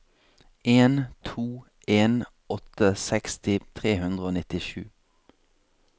en to en åtte seksti tre hundre og nittisju